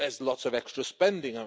There's lots of extra spending.